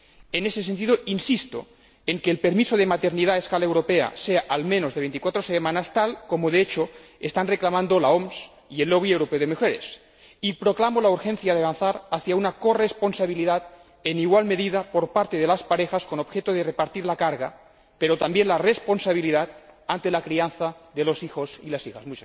En ese sentido, insisto en que el permiso de maternidad a escala europea sea, al menos, de veinticuatro semanas, tal como de hecho están reclamando la OMS y el Lobby Europeo de Mujeres, y proclamo la urgencia de avanzar hacia una corresponsabilidad en igual medida por parte de las parejas, con objeto de repartir la carga, pero también la responsabilidad de la crianza de los hijos y las hijas.